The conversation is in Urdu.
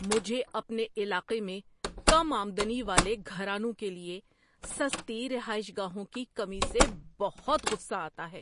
مجھے اپنے علاقے میں کم آمدنی والے گھرانوں کے لیے سستی رہائش گاہوں کی کمی سے بہت غصہ آتا ہے۔